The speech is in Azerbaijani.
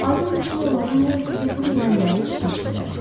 Aydındır ki, onların hər ikisi bu deyilənləri eşitmişdilər.